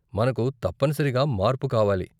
మనకు తప్పనిసరిగా మార్పు కావాలి.